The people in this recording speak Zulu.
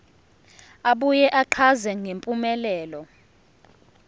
abuye achaze ngempumelelo